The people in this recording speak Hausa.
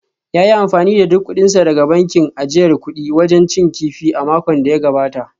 Ya yi amfani da duk kudinsa daga bankin ajiyar kudi wajen cin kifi a makon da ya gabata